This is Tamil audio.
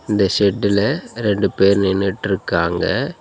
இந்த ஷெட்டுல ரெண்டு பேர் நின்னுட்ருக்காங்க.